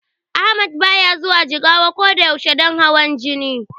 Ahmad baya zuwa Jigawa ko da yaushe don hawan Gani.